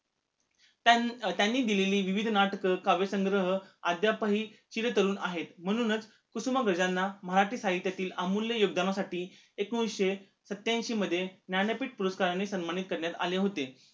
त्यानं त्यांनी दिलेली विविध नाटक, काव्यसंग्रह, अध्यापही चिरतरुण आहेत म्हणूनच कुसुमाग्रज ह्यांना मराठी साहित्यातील अमूल्य योगदानासाठी एकोणीशे सत्याऐशी मध्ये ज्ञानपीठ पुरस्कारांनी सन्मानित करण्यात आले होते